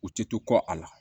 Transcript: U ti to kɔ a la